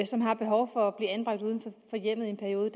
som har behov for at blive anbragt uden for hjemmet i en periode